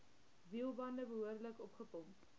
wielbande behoorlik opgepomp